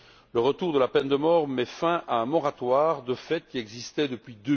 Le retour de la peine de mort met fin à un moratoire de fait qui existait depuis